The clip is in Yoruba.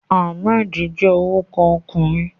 Ahmed je oruko okunrin